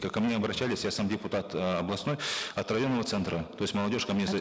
ко мне обращались я сам депутат эээ областной от районного центра то есть молодежь ко мне за